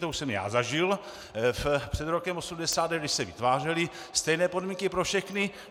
To už jsem já zažil před rokem 1989, když se vytvářely stejné podmínky pro všechny.